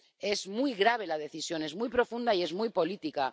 Es muy grave la decisión, es muy profunda y es muy política.